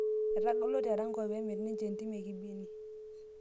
Etagolo te Erankau peemir ninje entim ekibini